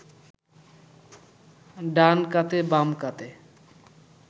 ডান কাতে বাম কাতে